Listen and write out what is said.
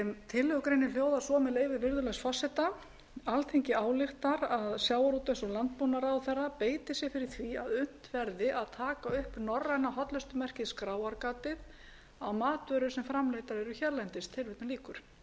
tillögugreinin hljóðar svo með leyfi virðulegs forseta alþingi ályktar að sjávarútvegs og landbúnaðarráðherra beiti sér fyrir því að unnt verði að taka upp norræna hollustumerkið skráargatið á matvörur sem framleiddar eru hérlendis svo